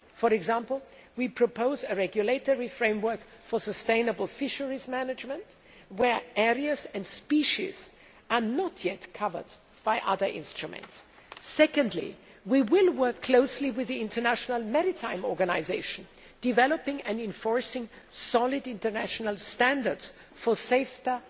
For example, we propose a regulatory framework for sustainable fisheries management where areas and species are not yet covered by other instruments. Secondly, we will work closely with the International Maritime Organisation, developing and enforcing solid international standards for safer